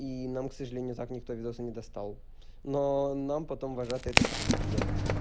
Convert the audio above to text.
и нам к сожалению так ни кто видео не достал но нам потом вожатые это подтвердили